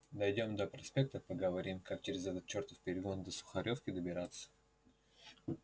дойдём до проспекта поговорим как через этот чертов перегон до сухаревки добираться